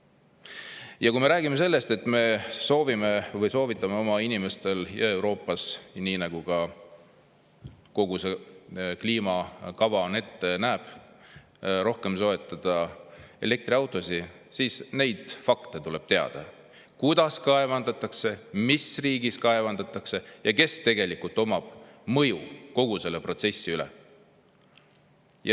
Ja kui me räägime sellest, et me soovitame oma inimestel, nii nagu Euroopas kogu see kliimakava ette näeb, rohkem soetada elektriautosid, siis neid fakte tuleb teada: kuidas kaevandatakse, mis riigis kaevandatakse ja kes tegelikult omab mõju kogu selle protsessi üle.